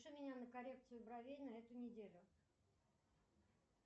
запиши меня на коррекцию бровей на эту неделю